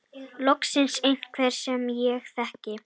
Loksins einhver sem ég þekki.